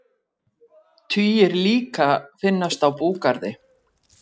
Tugir líka finnast á búgarði